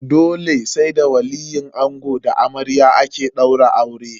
Dole sai da waliyin ango da na amarya ake daura aure.